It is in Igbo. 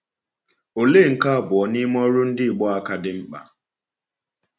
Ọ̀lee nke abụọ n’ime ọrụ ndị Igbo a ka dị mkpa?